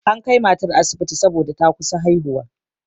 An kai matar asibiti saboda ta kusa haihuwa.